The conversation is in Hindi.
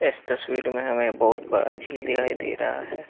इस तस्वीर में हमें बहुत बड़ा झील दिखाई दे रहा है।